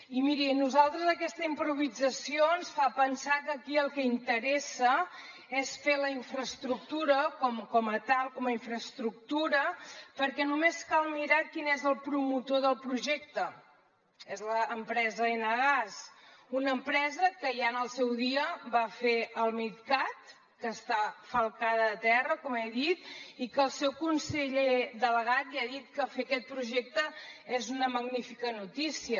i miri nosaltres aquesta improvisació ens fa pensar que aquí el que interessa és fer la infraestructura com a tal com a infraestructura perquè només cal mirar quin és el promotor del projecte és l’empresa enagás una empresa que ja en el seu dia va fer el midcat que està falcada a terra com he dit i que el seu conseller delegat ja ha dit que fer aquest projecte és una magnífica notícia